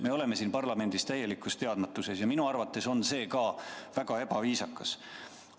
Me oleme siin parlamendis täielikus teadmatuses ja minu arvates on see ka väga ebaviisakas.